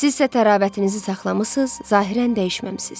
Sizsə təravətinizi saxlamısız, zahirən dəyişməmisiz.